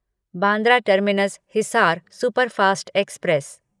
Bandra terminus Hisar superfast express